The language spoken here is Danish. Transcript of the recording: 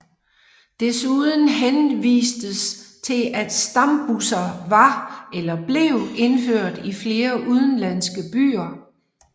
Desuden henvistes til at stambusser var eller blev indført i flere udenlandske byer